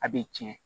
A bɛ tiɲɛ